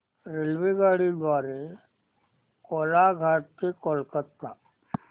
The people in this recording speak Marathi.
रेल्वेगाडी द्वारे कोलाघाट ते कोलकता